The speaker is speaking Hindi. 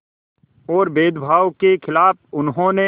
और भेदभाव के ख़िलाफ़ उन्होंने